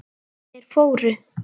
Þeir fóru.